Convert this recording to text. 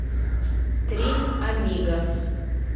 три амигос